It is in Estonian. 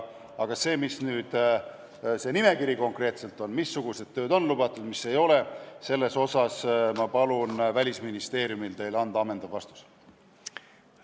Aga selle kohta, milline see nimekiri konkreetselt on, missugused tööd on lubatud ja mis ei ole, ma palun Välisministeeriumil teile ammendav vastus anda.